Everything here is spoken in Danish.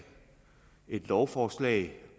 et lovforslag